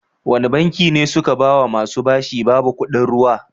Wani banki ne suka bawa musa bashi babu kuɗin ruwa?